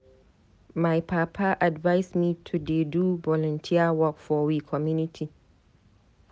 My papa advice me to dey do volunteer work for we community.